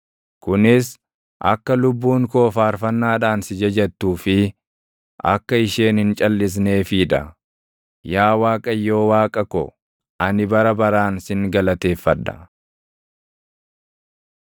kunis akka lubbuun koo faarfannaadhaan si jajattuu fi // akka isheen hin calʼisneefii dha. Yaa Waaqayyo Waaqa ko, ani bara baraan sin galateeffadha.